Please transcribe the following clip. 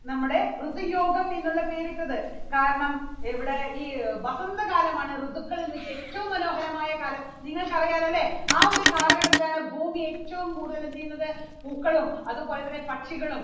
നമ്മുടെ ഋതി യോഗം എന്നുള്ള പേരിട്ടത്. കാരണം ഇവിടെ ഈ വസന്തകാലം ആണ് ഋതുക്കളിൽ വെച്ച് ഏറ്റവും മനോഹരമായ കാലം നിങ്ങൾക്കറിയാലോ അല്ലേ? ആ ഒരു കാലഘട്ടത്തിലാണ് ഭൂമി ഏറ്റവും കൂടുതൽ എന്ത് ചെയ്യുന്നത് പൂക്കളും അതുപോലെതന്നെ പക്ഷികളും